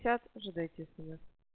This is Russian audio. сейчас уже дайте сказать